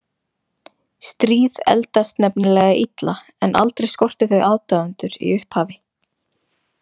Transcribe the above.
Stríð eldast nefnilega illa en aldrei skortir þau aðdáendur í upphafi.